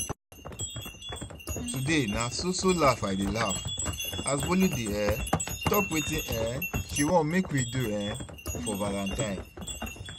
Today na so so laugh I dey laugh as Bolu dey um talk wetin um she wan make we do um for valentine